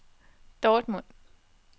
Dortmund